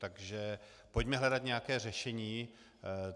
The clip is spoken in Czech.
Takže pojďme hledat nějaké řešení.